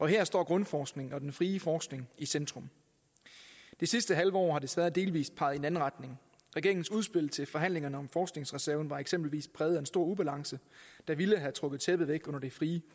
her står grundforskning og den frie forskning i centrum det sidste halve år har det desværre delvis peget i en anden retning regeringens udspil til forhandlingerne om forskningsreserven var eksempelvis præget af en stor ubalance der ville have trukket tæppet væk under det frie